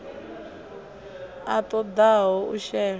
a ṱo ḓaho u shela